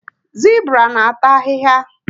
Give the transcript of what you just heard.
Zibra na ata ahịhịa